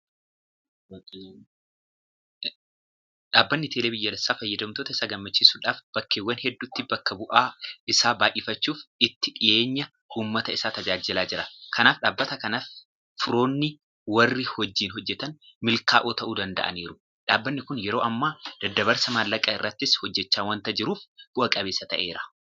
Dhaabbanni Teelee biyyaalessaa fayyadamtoota isaa gammachiisuudhaaf bakkeewwan hedduutti bakka bu'aa isaa baay'ifachuudhaan itti dhiyeenyaan uummata isaa tajaajilaa jira. Kanaaf dhaabbata kanatti firoonanii warri wajjin hojjetan milkaa'oo ta'uu danda'aniiru. Dhaabbanni kun yeroo ammaa daddabarsa maallaqaa irrattis hojjechaa waanta jiruuf bu'a qabeessa ta'eera.